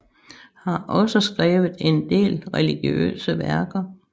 Har også skrevet en del religiøse værker